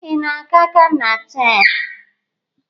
Ị na-aga Gana taa?